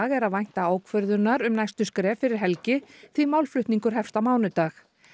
er að vænta ákvörðunar um næstu skref fyrir helgi því málflutningur hefst á mánudag